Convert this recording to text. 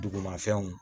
Dugumafɛnw